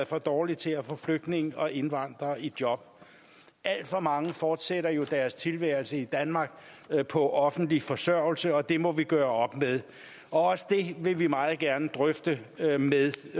for dårligt til at få flygtninge og indvandrere i job alt for mange fortsætter jo deres tilværelse i danmark på offentlig forsørgelse og det må vi gøre op med også det vil vi meget gerne drøfte med